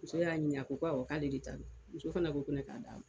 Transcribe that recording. Muso y'a ɲinika, o ko k'ale de ta don, muso fana ko ne k'a d'a ma.